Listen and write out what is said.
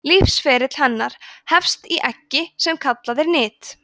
lífsferill hennar hefst í eggi sem kallað er nit